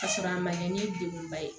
Ka sɔrɔ a ma kɛ ni degun ba ye